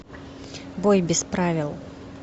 бой без правил